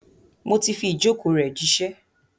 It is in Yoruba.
Mo ti fi ìjókòó rẹ̀ jíṣẹ́.